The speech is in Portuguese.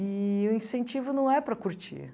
Eee o incentivo não é para curtir.